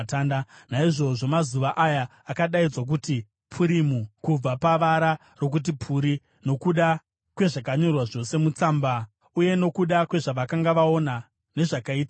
(Naizvozvo mazuva aya akadaidzwa kuti Purimu, kubva pavara rokuti puri.) Nokuda kwezvakanyorwa zvose mutsamba uye nokuda kwezvavakanga vaona, nezvakaitika kwavari,